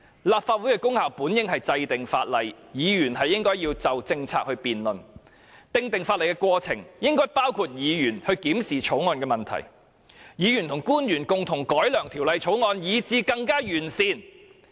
立法會的功能本應是制定法例，議員應該要就政策辯論，而訂定法例的過程亦應該包括議員檢視法案的問題，議員和官員共同改良法案，是使之更為完善。